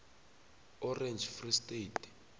orange free state